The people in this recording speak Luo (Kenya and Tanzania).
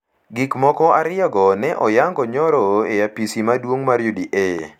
Gik moko ariyogo ne oyango nyoro e apis maduong’ mar UDA,